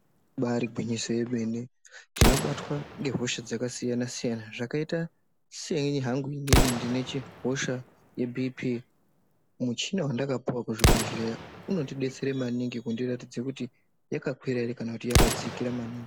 Ibari gwinyiso remene tinobatwa nehosha dzakasiyana-siyana zvakaita seni hangu inini ndine hosha yeBhii Pii muchina wandakapuwa kuchibhedhlera unondidetsera maningi kundiratidza kuti yakakwira here kana yakadzikira maningi.